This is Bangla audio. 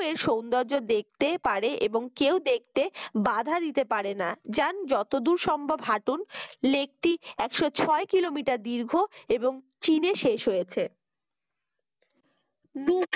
সৌন্দর্য দেখতে পারে এবং কেউ দেখতে বাধা দিতে পারে না যান যতদূর সম্ভব হাঁটুন lake টি একশ ছয় কিলোমিটার দীর্ঘ এবং চীনে শেষ হয়েছে